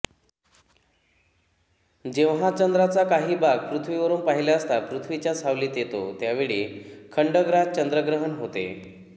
जेव्हा चंद्राचा काही भाग पृथ्वीवरून पाहिले असता पृथ्वीच्या सावलीत येतो त्यावेळी खंडग्रास चंद्रग्रहण होते